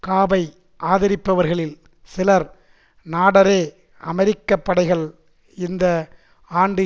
காபை ஆதரிப்பவர்களில் சிலர் நாடெரே அமெரிக்க படைகள் இந்த ஆண்டு